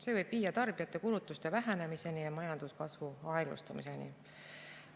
See võib viia tarbijate kulutuste vähenemiseni ja majanduskasvu aeglustumiseni.